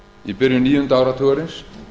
í byrjun níunda áratugarins